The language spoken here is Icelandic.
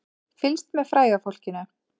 Fylgst með fræga fólkinu